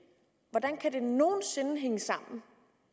hvordan kan det nogen sinde hænge sammen